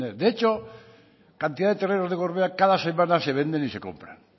de hecho cantidad de terrenos del gorbea cada semana se venden y se compran